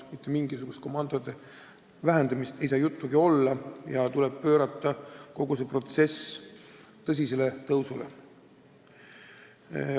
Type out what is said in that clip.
Mitte mingisugusest komandode vähendamisest ei saa juttugi olla, kogu see protsess tuleb pöörata tõsisele tõusule.